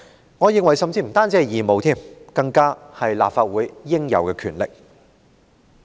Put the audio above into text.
我甚至認為這不單是義務，更是立法會應有的權力。